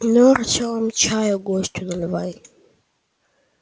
ну артем чаю гостю наливай